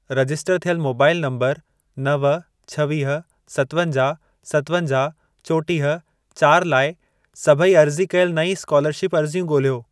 Register थियल mobile number नव, छवीह, सतवंजाहु, सतवंजाहु, चोटीह, चारि लाइ, सभई अर्ज़ी कयल नईं स्कोलरशिप अर्ज़ियूं ॻोल्हियो।